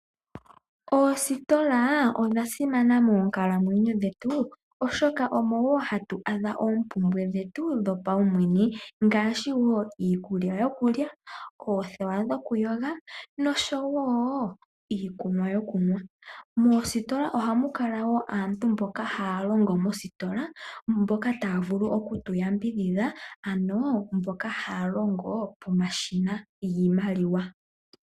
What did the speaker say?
Oositola odha simana moonkalamwenyo dhetu oshoka omo wo hatu adha oompumbwe dhetu dhopaumwene ngaashi iikulya yokulya, oothewa dhoku yoga osho wo iikunwa yokunwa . Moositola ohamu kala wo aantu mboka haya longo mo, mboka ta ya vulu oku tu yambidhidha, ano mboka haya longo pomashina giimaliwa.